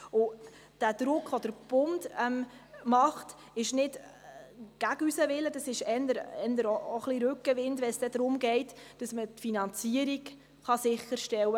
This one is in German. Der Druck des Bundes ist nicht gegen unseren Willen, sondern eher Rückenwind, wenn es darum geht, die Finanzierung sicherzustellen.